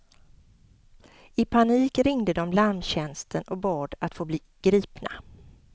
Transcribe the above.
I panik ringde de larmtjänsten och bad att få bli gripna.